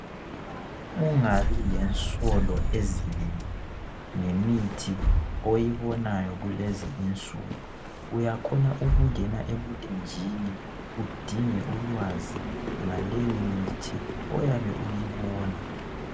Ungabi lensolo ezinengi ngemithi oyibonayo kule izinsuku uyakhona ukungena ebulenjini udinge ulwazi ngaleyo mithi oyabe uyibona.